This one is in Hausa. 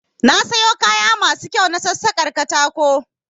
Na sayo kaya masu kyau na sassakar katako